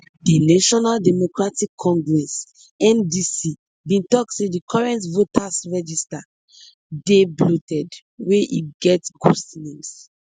di national democratic congress ndc bin tok say di current voters register dey bloated wey e get ghost names